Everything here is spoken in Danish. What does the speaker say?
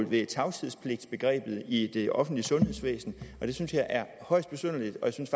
ved tavshedspligtsbegrebet i det offentlige sundhedsvæsen og det synes jeg er højst besynderligt jeg synes